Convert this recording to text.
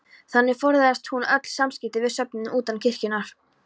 Þannig forðaðist hún öll samskipti við söfnuðinn utan kirkjunnar.